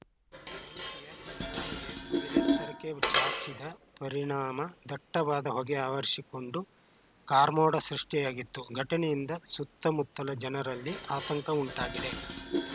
ಬೆಂಕಿಯ ಕೆನ್ನಾಲಗೆ ಮುಗಿಲೆತ್ತರಕ್ಕೆ ಚಾಚಿದ ಪರಿಣಾಮ ದಟ್ಟವಾದ ಹೊಗೆ ಆವರಿಸಿಕೊಂಡು ಕಾರ್ಮೋಡ ಸೃಷ್ಟಿಯಾಗಿತ್ತು ಘಟನೆಯಿಂದ ಸುತ್ತಮುತ್ತಲ ಜನರಲ್ಲಿ ಆತಂಕ ಉಂಟಾಗಿದೆ